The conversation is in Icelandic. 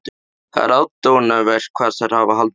Það er aðdáunarvert hvað þær hafa haldið okkur út.